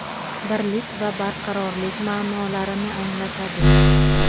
birlik va barqarorlik ma’nolarini anglatadi.